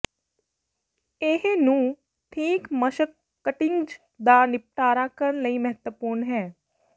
ਇਹ ਨੂੰ ਠੀਕ ਮਸ਼ਕ ਕਟਿੰਗਜ਼ ਦਾ ਿਨਪਟਾਰਾ ਕਰਨ ਲਈ ਮਹੱਤਵਪੂਰਨ ਹੈ